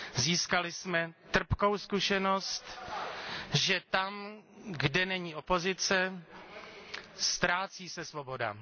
Získali jsme trpkou zkušenost, že tam, kde není opozice, ztrácí se svoboda.